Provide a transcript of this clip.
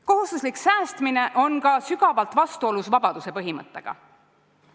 Kohustuslik säästmine on sügavalt vastuolus ka vabaduse põhimõttega.